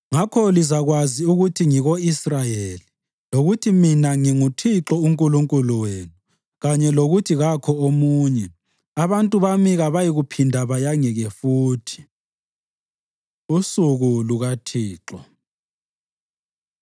Ngakho lizakwazi ukuthi ngiko-Israyeli, lokuthi mina nginguThixo uNkulunkulu wenu, kanye lokuthi kakho omunye; abantu bami kabayikuphinda bayangeke futhi.” Usuku LukaThixo